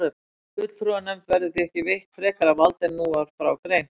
Fulltrúanefnd verður því ekki veitt frekara vald en nú var frá greint.